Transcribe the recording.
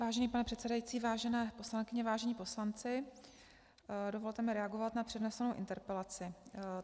Vážený pane předsedající, vážené poslankyně, vážení poslanci, dovolte mi reagovat na přednesenou interpelaci.